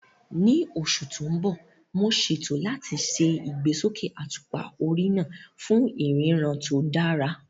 Ní oṣù tó ń bọ̀, mo ṣètò láti ṣe ìgbésókè àtùpà orí náà fún ìríran tó dára